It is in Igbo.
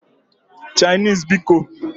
Chinese bikoǃ